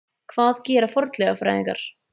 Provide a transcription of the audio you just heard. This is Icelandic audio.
Hvað gera fornleifafræðingar?